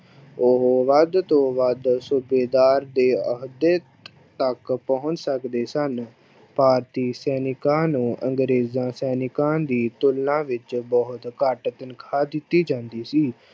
ਉਹ ਵੱਧ ਤੋ ਵੱਧ ਸੂਬੇਦਾਰ ਦੇ ਅਹੁਦੇ ਤੱਕ ਪਹੁੰਚ ਸਕਦੇ ਸਨ, ਭਾਰਤੀ ਸੈਨਿਕਾਂ ਨੂੰ ਅੰਗਰੇਜ਼ਾਂ ਸੈਨਿਕਾਂ ਦੀ ਤੁਲਨਾ ਵਿੱਚ ਬਹੁੁਤ ਘੱਟ ਤਨਖ਼ਾਹ ਦਿੱਤੀ ਜਾਂਦੀ ਸੀ।